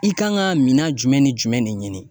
I kan ka minan jumɛn ni jumɛn de ɲini.